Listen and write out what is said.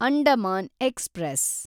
Andaman express